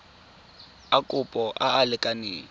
a kopo a a lekaneng